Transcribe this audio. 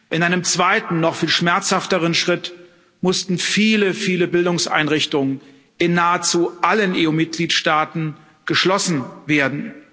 In einem zweiten, noch viel schmerzhafteren Schritt mussten viele, viele Bildungseinrichtungen in nahezu allen EU Mitgliedsstaaten geschlossen werden.